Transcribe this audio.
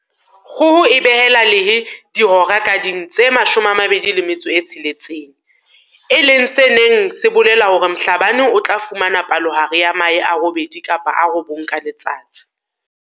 Kgoho e behela lehe dihora ka ding tse 26, e leng se neng se bolela hore Mhlabane o tla fumana palohare ya mahe a robedi kapa a robong ka letsatsi.